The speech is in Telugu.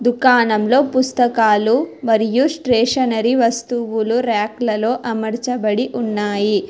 దుకాణంలో పుస్తకాలు మరియు స్టేషనరి వస్తువులు ర్యాకులలో అమరచబడి ఉన్నాయి.